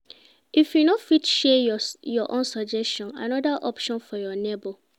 If you no fit share your own suggest another option for your neighbor